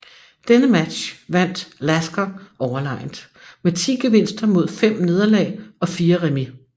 Denne match vandt Lasker overlegent med 10 gevinster mod 5 nederlag og 4 remis